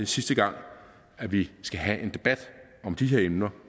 sidste gang at vi skal have en debat om de her emner